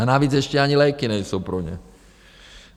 A navíc ještě ani léky nejsou pro ně.